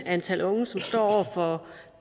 antal unge som står over for